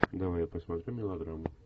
давай я посмотрю мелодраму